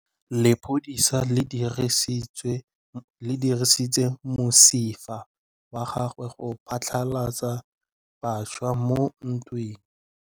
Lepodisa le dirisitse mosifa wa gagwe go phatlalatsa batšha mo ntweng.